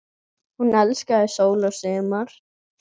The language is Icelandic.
Hún elskaði sól og sumar.